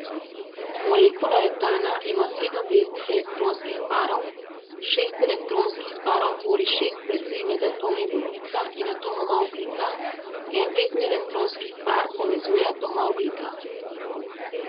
Molekula etana ima sedem veznih elektronskih parov, šest elektronskih parov tvori šest vezi med atomi vodika in atomoma ogljika, en vezni elektronski par povezuje atoma ogljika.